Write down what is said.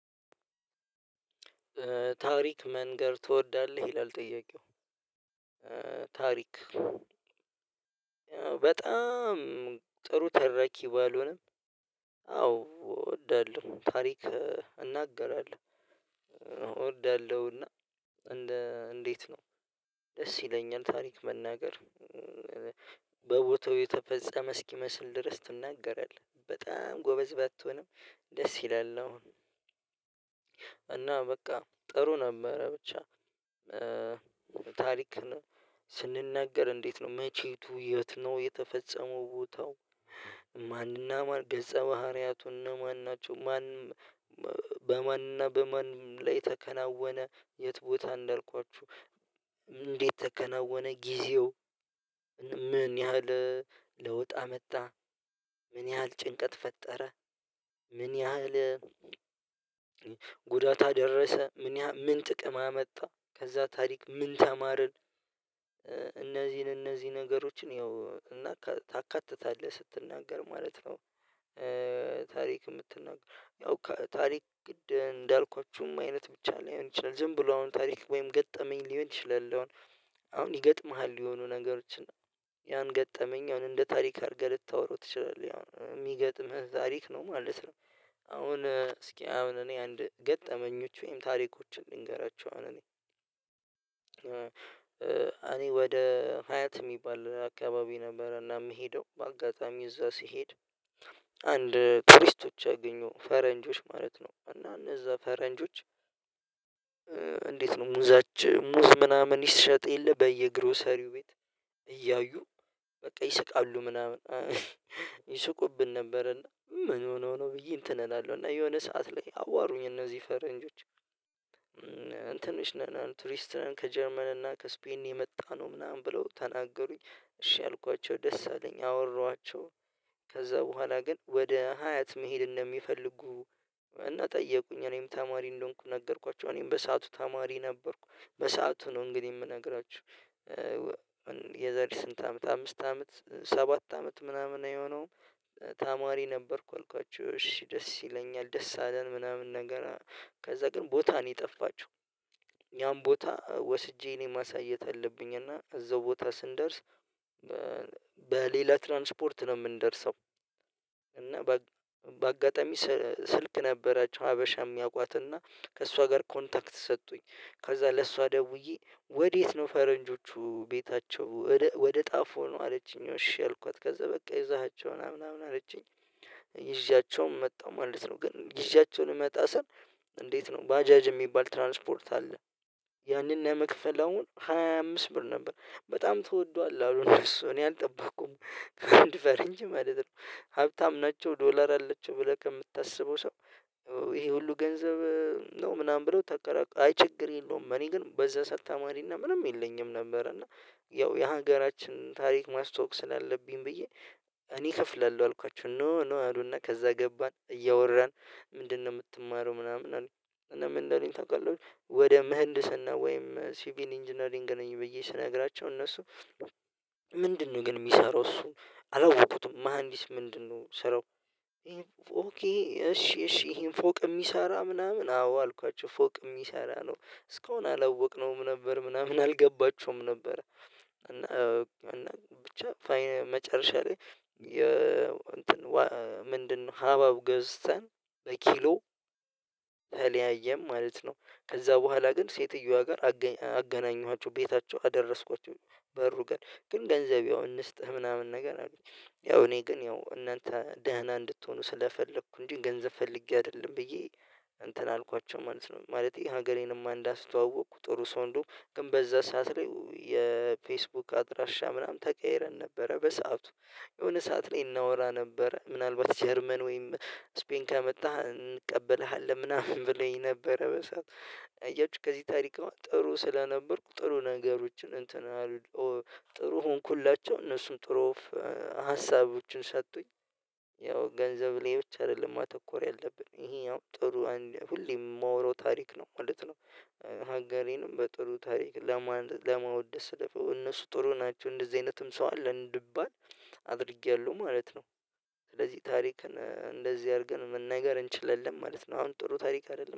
ታሪክ መናገር ትወዳለህ ይላል ጥያቄው ታሪክ በጣም ጥሩ ተራኪ ባልሆነም አዎ እወዳለሁ ታሪክ እናገራለሁ እወዳለሁና። እንዴት ነው ደስ ይለኛል ታሪክ መናገር። በቦታው የተፈጸመ እስኪመስል ድረስ ትናገራለህ በጣም ጎበዝ ባትሆንም ደስ ይላል ነው። እና በቃ ጥሩ ነበረ ብቻ ታሪክ ስንናገር እንዴት ነው መቼቱ የት ነው የተፈጸመው ቦታው ማንና ማን ገጸ ባህሪያቱ እነማን ናቸው? ማንም በማንም በማንም ላይ ተከናወነ የት ቦታ እንደልኳችሁ እንዴት ተከናወነ ጊዜው ምን ያህል ለውጥ አመጣ ምን ያህል ጭንቀት ፈጠረ ምን ያህል ጉዳት አደረሰ ምን ምን ጥቅም አመጣ ከዛ ታሪክ ምን ተማርን? እነዚህን እነዚህ ነገሮችን ያው እና ታካትታለህ ስትናገር ማለት ነው። ታሪክ ምትናገርያው ከታሪክ እንዳልኳችሁም አይነት ብቻ ሊሆን ይችላል ዝም ብሎ አሁን ታሪክ ወይም ገጠመኝ ይችላል አሁን ይገጥምሃል የሆኑ ነገሮችን ያን ገጠመኝ አሁን እንደ ታሪክ አድርገህ ልታወራው ትችላለህ የሚገጥምህ ታሪክ ነው ማለት ነው። አሁን እስኪ አሁን እኔ አንድ ገጠመኞች ወይም ታሪኮችን ልንገራችሁ አሁን እኔ እኔ ወደ ሀያት ሚባል አካባቢ ነበረ እና የምሄደው በአጋጣሚ እዛ ሲሄድ አንድ ቱሪስቶች አገኘሁ ፈረንጆች ማለት ነው እና እነዛ ፈረንጆች። እንዴት ነው ሙዛች ሙዝ ምናምን ይሸጥ የለ በየግሮሰሪው ቤት እያዩ በቃ ይስቃሉ ምናምን። ነበር እና ምን ሆኖ ነው ብዬ እንትን እላለሁ እና የሆነ ሰዓት ላይ አዋሩኝ እዚህ ፈረንጆች ትንሽ ቱሪስት ነን ከጀርመን እና ከስፔን የመጣነው ምናምን ብለው ተናገሩኝ። እሺ አልኳቸው ደስ አለኝ አወራኋቸው ከዛ በኋላ ግን ወደ ሀያት መሄድ እንደሚፈልጉ እና ጠየቁኝ እኔም ተማሪ እንደሆንኩ ነገርኳቸው እኔም በሰአቱ ተማሪ ነበርኩ። በሰአቱ ነው እንግዲህ ምነግራችሁ የዛሬ ስንት አመት አምስት አመት ሰባት አመት ምናምን አይሆነውም። ተማሪ ነበርኩ አልኳችሁ እሺ ደስ ይለኛል ደስ አለን ምናምን ነገር ከዛ ግን ቦታ ነው የጠፋችው። ያን ቦታ ወስጄ እኔ ማሳየት አለብኝ እና እዛው ቦታ ስንደርስ በሌላ ትራንስፖርት ነው የምንደርሰው። እና በአጋጣሚ ስልክ ነበራቸው ሀበሻም ሚያውቋት እና ከእሷ ጋር ኮንታክት ሰጡኝ ከዛ ለእሷ ደውዬ ወዴት ነው ፈረንጆቹ ቤታቸው ወደ ጣፉ ነው አለችኝ እሺ አልኳት ከዛ በቃ ይዛሃቸውን ምናምን ምናምን አለችኝ። ጊዜያቸውም መጣሁ ማለት ነው ግን ይዣያቸውን ልመጣ ስል እንዴት ነው ባጃጅ የሚባል ትራንስፖርት አለ? ያንን ለመክፈል አሁን ሃያ አምስት ብር ነበር በጣም ተወዷል አሉ እነሱ እኔ አልጠበቅኩም ከአንድ ፈረንጅ ማለት ነው ሀብታም ናቸው ዶላር አላችው ብለህ ከምታስበው ሰው ይሄ ሁሉ ገንዘብ ነው ምናምን ብለው ተከራክሎ አይ ችግር የለውም እኔ ግን በዛ ሰዓት ተማሪ እና ምንም የለኝም ነበር። እና ያው የሀገራችን ታሪክ ማስተዋወቅ ስላለብኝ ብዬ እኔ እከፍላለሁ አልኳቸው ኖ ኖ አሉና ከዛ ገባን እያወራን ምንድን ነው ምትማረው ምናምን? አሉኝ እና ምን እንዳሉኝ ታውቃላችሁ ወደ ምህንድስና ወይም ሲቪል ኢንጂነሪንግ ነኝ ብዬ ስነግራቸው እነሱ ምንድነው ግን ሚሰራው እሱ አላወኩትም መሃንዲስ ምንድን ነው ስራው? ኦኪ እሺ እሺ ፎቅ ሚሰራ ምናምን አዎ አልኳቸው ፎቅ ሚሰራ ነው እስካሁን አላወቅነውም ነበር ምናምን አልገባቸውም ነበር። ብቻ መጨረሻ ላይ እንትን ምንድ ነው ሀባብ ገዝተን በኪሎ ተለያየን ማለት ነው። ከዛ በኋላ ግን ሴትየዋ ጋር አገናኘኋቸው ቤታቸው አደረስኳቸው በሩ ጋር ግን ገንዘብ ያው እንስጥህ ምናምን ነገር አሉኝ ያው እኔ ግን ያው እናንተ ደህና እንድትሆኑ ስለፈለኩ እንጂ ገንዘብ ፈልጌ አይደለም ብዬ እንትን አልኳቸው ማለት ነው። ማለቴ ሀገሬንም እንዳስተዋወቅኩ ጥሩ ሰው እንደውም ግን በዛ ሰዓት ላይ የፌስቡክ አድራሻ ምናምን ተቀይረን ነበረ በሰአቱ የሆነ ሰዓት ላይ እናወራ ነበረ ምናልባት ጀርመን ወይም ስፔን ከመጣህ እንቀበልሃለን ምናምን ብለውኝ ነበረ በሰአቱ አያችሁ ከዚህ ታሪክ ጥሩ ስለነበርኩ ጥሩ ነገሮችን እንትን ጥሩ ሆንኩላቸው እነሱም ጥሩ ሀሳቦችን ሰጡኝ ያው ገንዘብ ላይ ብቻ አይደለም ማተኮር ያለብን ይሄ ያው ጥሩ ሁሌ የማወራው ታሪክ ነው ማለት ነው። ሀገሬንም በጥሩ ታሪክ ለማወደስ ለፈው እነሱ ጥሩ ናቸው እንደዚህ አይነትም ሰው አለ እንድባል አድርጌያለሁ ማለት ነው። ስለዚህ ታሪክን እንደዚህ አርገን መናገር እንችላለን ማለት ነው። አሁን ጥሩ ታሪክ አይደለም